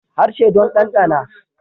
Harshe don danɗana